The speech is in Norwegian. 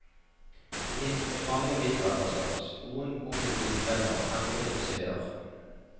Det finnes mange middelalderslott, noen ombygd til hoteller, andre til museer.